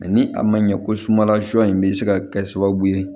ni a ma ɲɛ ko sumala sɔsɔn in bɛ se ka kɛ sababu ye